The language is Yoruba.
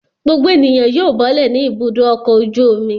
Gbogbo ènìyàn yóò bọ́lẹ̀ ní Ibùdó-ọkọ̀ ojú-omi.